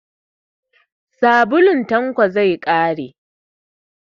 Sabulun Tanko zai ƙare.